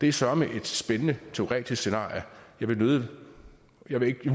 er søreme et spændende teoretisk scenarie jeg vil